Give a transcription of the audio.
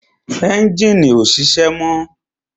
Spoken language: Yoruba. Ẹ́njìnì ọ́ sise mọ́